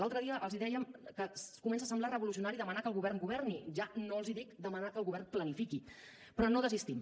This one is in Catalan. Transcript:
l’altre dia els dèiem que comença a semblar revolucionari demanar que el govern governi ja no els dic demanar que el govern planifiqui però no desistim